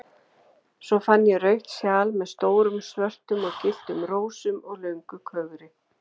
Svo fann ég rautt sjal með stórum svörtum og gylltum rósum og löngu kögri.